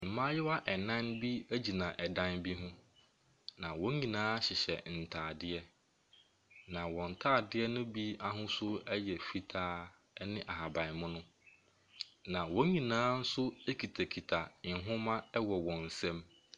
Mmaayewaa ɛnan bi egyina dan bi mu na wɔn nyinaa hyehyɛ ntaadeɛ. na wɔn ntaadeɛ no bi ahosuo ɛyɛ fitaa ɛne ahaban mono. na wɔn nyinaa nso ekitakita nwoma wɔ wɔn nsam.